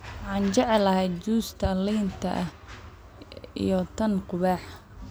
Waxan jeclahay juiceta liinta iyo taan quwaxaa